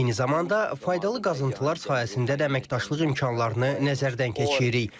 Eyni zamanda, faydalı qazıntılar sayəsində də əməkdaşlıq imkanlarını nəzərdən keçiririk.